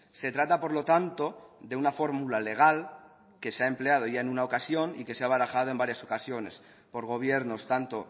se trata por lo tanto de una fórmula legal que se ha empleado ya en una ocasión y que se ha barajado en varias ocasiones por gobiernos tanto